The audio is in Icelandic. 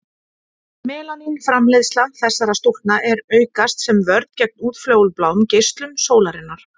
Melanín framleiðsla þessara stúlkna er aukast sem vörn gegn útfjólubláum geislum sólarinnar.